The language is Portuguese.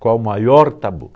Qual o maior tabu?